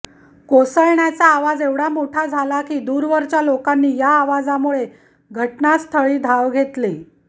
कोसळण्याचा आवाज एवढा मोठा झाला की दूरवरच्या लोकांनी या आवाजामुळे घटनास्थळी धाव घेतली